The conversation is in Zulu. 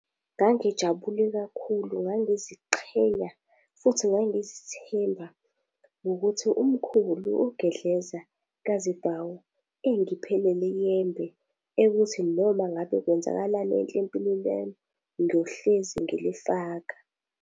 Ngangijabule kakhulu ngangiziqhenya, futhi ngangizithemba ngokuthi umkhulu uGedleza kaZibhawu engiphe leli yembe ekuthi noma ngabe kwenzakalani enhle empilweni yami, ngiyohlezi ngilifaka.